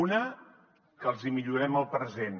una que els hi millorem el present